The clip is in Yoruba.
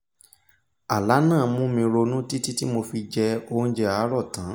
àlá náà mú mi ronú títí tí mo fi jẹ oúnjẹ àárọ̀ tán